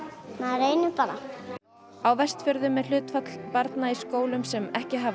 reynir bara á Vestfjörðum er hlutfall barna í skólum sem ekki hafa